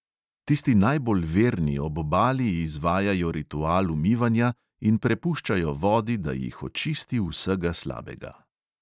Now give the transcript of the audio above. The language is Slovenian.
Tisti najbolj verni ob obali izvajajo ritual umivanja in prepuščajo vodi, da jih očisti vsega slabega.